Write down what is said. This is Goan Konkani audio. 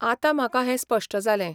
आतां म्हाका हें स्पश्ट जालें.